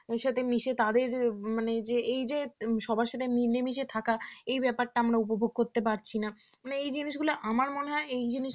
ওদের সাথে মিশে তাদের মানে যে এই যে সবার সাথে মিলে মিশে থাকা এই ব্যাপারটা আমার উপভোগ করতে পারছি না মানে এই জিনিসগুলো আমার মনে হয় এই জিনিস